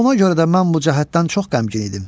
Ona görə də mən bu cəhətdən çox qəmgin idim.